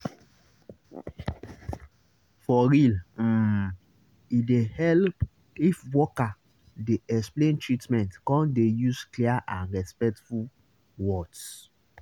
for real um e dey help if worker dey explain treatment come dey use clear and respectful words